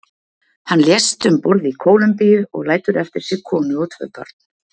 Hann lést um borð í Kólumbíu og lætur eftir sig konu og tvo börn.